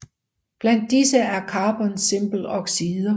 Blandt disse er carbons simple oxider